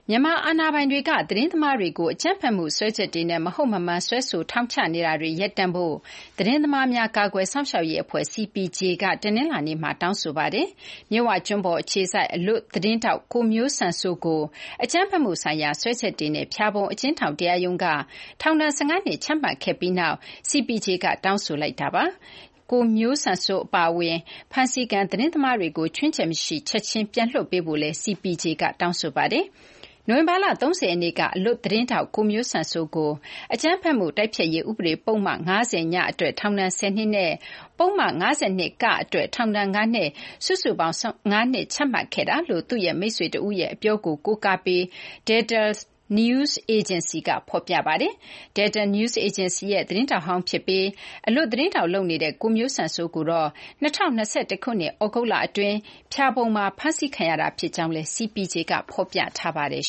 မြန်မာအာဏာပိုင်တွေက သတင်းသမားတွေကို အကြမ်းဖက်မှု စွဲချက်တွေနဲ့ မဟုတ်မမှန် စွဲဆိုပြီး ထောင်ချနေတာတွေ ရပ်တန့်ဖို့ သတင်းသမားများ ကာကွယ်စောင့်ရှောက်ရေးအဖွဲ့ CPJ က တနလာၤနေ့မှာ တောင်းဆိုလိုက်ပါတယ်။ မြစ်ဝကျွန်းပေါ် အခြေစိုက် အလွတ်သတင်းထောက် ကိုမျိုးစံစိုး ကို အကြမ်းဖက်မှုဆိုင်ရာ စွဲချက်တွေနဲ့ ဖျာပုံ အကျဉ်းထောင် တရားရုံးက ထောင်ဒဏ် ၁၅ နှစ် ချမှတ်ခဲ့ပြီးနောက် CPJ က တောင်းဆိုလိုက်တာပါ။ ကိုမျိုးစံစိုး အပါအဝင် ဖမ်းဆီးခံ သတင်းသမားတွေ ခြွင်းချက်မရှိ ချက်ချင်း ပြန်လွှတ်ပေးဖို့လည်း CPJ က တောင်းဆိုပါတယ်။ နိုဝင်ဘာလ ၃၀ ရက်နေ့က အလွတ်သတင်းထောက် ကိုမျိုးစံစိုးကို အကြမ်းဖက်မှု တိုက်ဖျက်ရေး ဥပဒေ ပုဒ်မ ၅၀(ည) အတွက် ထောင်ဒဏ် ၁၀ နှစ် နဲ့ ပုဒ်မ ၅၂(က)အတွက် ထောင်ဒဏ် ၅နှစ် စုစုပေါင်း ၁၅ နှစ် ချမှတ်ခဲ့တာလို့ သူ့ရဲ့မိတ်ဆွေတဦးရဲ့ အပြောကို ကိုးကားပြီး Delta News Agency က ဖော်ပြပါတယ်။ Delta News Agency ရဲ့ သတင်းထောက်ဟောင်း ဖြစ်ပြီး အလွတ်သတင်းထောက် လုပ်နေတဲ့ ကိုမျိုးစံစိုးကိုတော့ ၂၀၂၁ ခုနှစ် သြဂုတ်လ အတွင်း ဖျာပုံမှာ ဖမ်းဆီးခဲ့တာ ဖြစ်ကြောင်းလည်း CPJ က ဖော်ပြထားပါတယ်